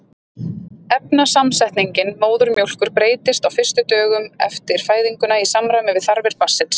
efnasamsetning móðurmjólkur breytist á fyrstu dögum eftir fæðinguna í samræmi við þarfir barnsins